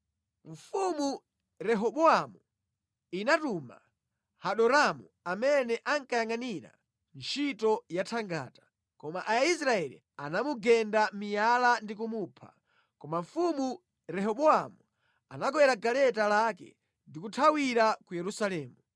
Mfumu Rehobowamu inatuma Hadoramu amene ankayangʼanira ntchito yathangata, koma Aisraeli anamugenda miyala ndi kumupha. Koma mfumu Rehobowamu anakwera galeta lake ndi kuthawira ku Yerusalemu.